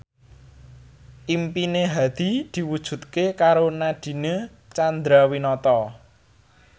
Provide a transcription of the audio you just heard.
impine Hadi diwujudke karo Nadine Chandrawinata